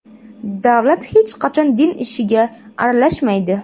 Davlat hech qachon din ishiga aralashmaydi.